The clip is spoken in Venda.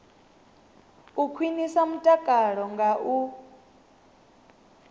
u khwinisa mutakalo nga u